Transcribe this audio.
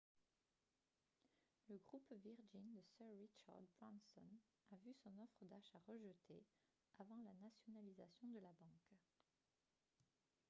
le groupe virgin de sir richard branson a vu son offre d'achat rejetée avant la nationalisation de la banque